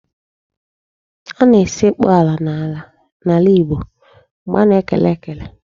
A na-esekpu ala n'ala Igbo mgbe a na-ekele ekele.